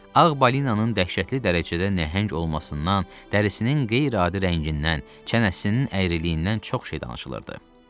Ağ Balinanın dəhşətli dərəcədə nəhəng olmasından, dərisinin qeyri-adi rəngindən, çənəsinin əyriliyindən çox şey danışılırdı.